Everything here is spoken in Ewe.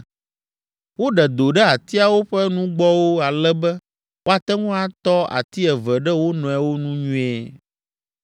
Woɖe do ɖe atiawo ƒe nugbɔwo ale be woate ŋu atɔ ati eve ɖe wo nɔewo nu nyuie.